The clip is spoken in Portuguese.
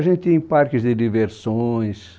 A gente ia em parques de diversões.